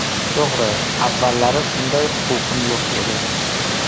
To‘g‘ri, avvallari unday huquqim yo‘q edi.